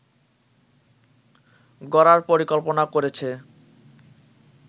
গড়ার পরিকল্পনা করেছে